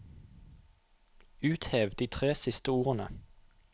Uthev de tre siste ordene